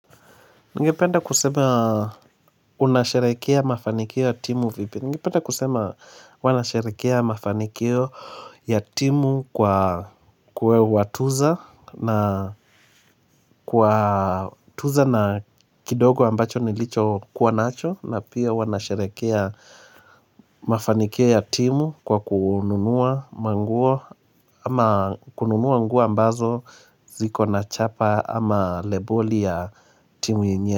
Ungependa kusema unasherekea mafanikio ya timu vipi. Ningependa kusema huwa nasharekea mafanikio ya timu kwa kuwatuza na watuza na kidogo ambacho nilicho kuwa nacho. Na pia huwa nasharekea mafanikio ya timu kwa kununuwa manguo ama kununua nguo ambazo ziko na chapa ama leboli ya timu yenye.